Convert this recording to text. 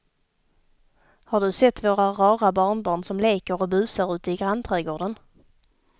Har du sett våra rara barnbarn som leker och busar ute i grannträdgården!